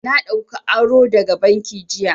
Na ɗauka aro daga banki jiya.